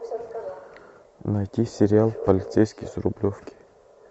найти сериал полицейский с рублевки